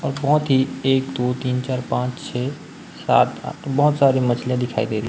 अथोथी एक दो तीन चार पांच छे सात आठ बहोत सारी मछलियां दिखाई दे रही--